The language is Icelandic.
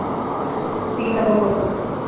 Hlýnar á morgun